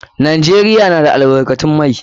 Najeriya na da albarkatun mai.